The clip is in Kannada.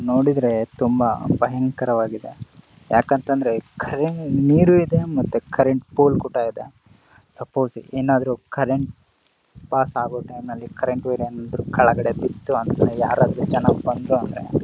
ನೋಡಿದ್ರೆ ತುಂಬಾ ಭಯಂಕರ ವಾಗಿದೆ ಯಾಕಂತ ಅಂದ್ರೆ ಕರೆಂಟ ನೀರು ಇದೆ ಮತ್ತು ಕರೆಂಟ್ ಕೋಲ್ ಗೂಟ ಇದೆ ಸಪೋಸ್ ಏನಾದ್ರು ಕರೆಂಟ್ ಪಸ್ಸಾಗೋ ಟೈಮ್ ಅಲ್ಲಿ ಕರೆಂಟ್ ವೈರ್ ಏನಾದ್ರು ಕೆಳಗಡೆ ಬಿಟ್ಟು ಯಾರಾದ್ರೂ ಜನ ಬಂದ್ರೆ--